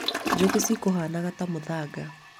njũkĩ cikũhanaga ta mũthanga